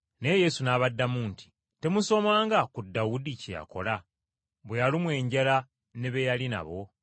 Naye Yesu n’abaddamu nti, “Temusomanga ku Dawudi kye yakola bwe yalumwa enjala ne be yali nabo?